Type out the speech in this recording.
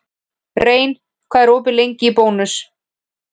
Rein, hvað er opið lengi í Bónus?